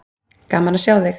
Gaman að sjá þig!